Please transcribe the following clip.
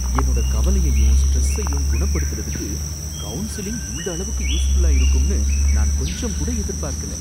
என்னோட கவலையையும் ஸ்ட்ரெஸ்ஸையும் குணப்படுத்தறதுக்கு கவுன்சிலிங் இந்த அளவுக்கு யூஸ்ஃபுல்லா இருக்கும்னு நான் கொஞ்சங்கூட எதிர்பார்க்கல.